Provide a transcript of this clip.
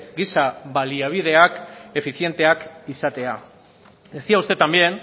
giza baliabideak efizienteak izatea decía usted también